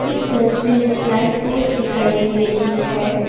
इस तस्वीर में लाइट पोश दिखाई दे रही है।